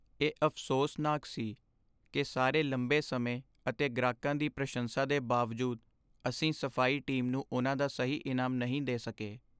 ਇਹ ਅਫ਼ਸੋਸਨਾਕ ਸੀ ਕਿ ਸਾਰੇ ਲੰਬੇ ਸਮੇਂ ਅਤੇ ਗ੍ਰਾਹਕਾਂ ਦੀ ਪ੍ਰਸ਼ੰਸਾ ਦੇ ਬਾਵਜੂਦ, ਅਸੀਂ ਸਫ਼ਾਈ ਟੀਮ ਨੂੰ ਉਨ੍ਹਾਂ ਦਾ ਸਹੀ ਇਨਾਮ ਨਹੀਂ ਦੇ ਸਕੇ।